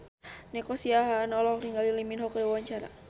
Nico Siahaan olohok ningali Lee Min Ho keur diwawancara